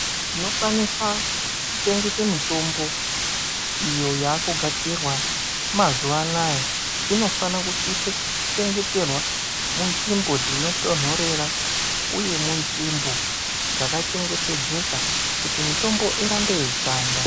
Tinokwanisa kuchengeta mitombo iyo yavakugadzirwa mazuva anawa inofana kusisa kuchengeterwa munzvimbo dzinotondorera uye munzvimbo dzakachengetedzeka kuti mitombo irambe yeishanda.